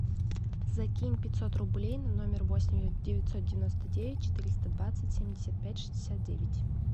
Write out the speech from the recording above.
закинь пятьсот рублей на номер восемь девятьсот девяносто девять четыреста двадцать семьдесят пять шестьдесят девять